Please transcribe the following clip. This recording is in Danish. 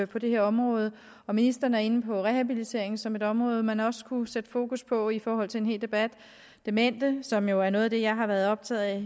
på det her område ministeren er inde på rehabilitering som et område man også kunne sætte fokus på i forhold til en hel debat demente som jo er noget af det jeg har været optaget af